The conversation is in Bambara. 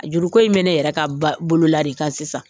Juruko in bɛ ne yɛrɛ ka ba bolo la de kan sisan.